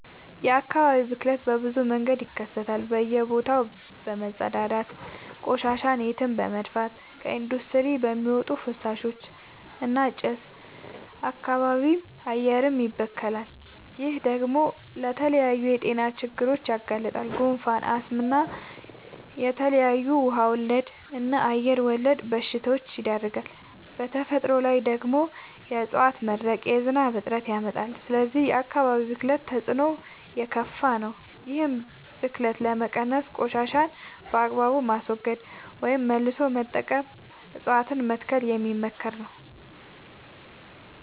የአካባቢ ብክለት በብዙ መንገድ ይከሰታል በእየ ቦታው በመፀዳዳት፤ ቆሻሻን የትም በመድፍት፤ ከኢንዲስትሪ በሚወጡ ፍሳሾች እና ጭስ አካባቢም አየርም ይበከላል። ይህ ደግሞ ለተለያዩ የጤና ችግሮች ያጋልጣል። ጉንፋን፣ አስም እና ለተለያዩ ውሃ ወለድ እና አየር ወለድ በሽታወች ይዳርጋል። በተፈጥሮ ላይ ደግሞ የዕፀዋት መድረቅ የዝናብ እጥረት ያመጣል። ስለዚህ የአካባቢ ብክለት ተፅዕኖው የከፋ ነው። ይህን ብክለት ለመቀነስ ቆሻሻን በአግባቡ ማስወገድ ወይም መልሶ መጠቀም እፀዋትን መትከል የሚመከር ነው።